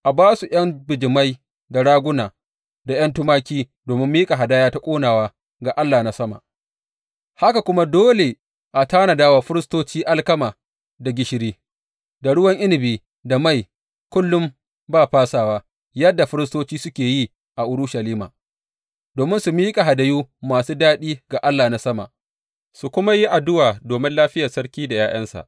A ba su ’yan bijimai, da raguna, da ’yan tumaki domin miƙa hadaya ta ƙonawa ga Allah na sama, haka kuma dole a tanada wa firistoci alkama, da gishiri, da ruwan inabi, da mai, kullum ba fasawa yadda firistoci suke yi a Urushalima domin su miƙa hadayu masu daɗi ga Allah na Sama, su kuma yi addu’a domin lafiyar sarki da ’ya’yansa.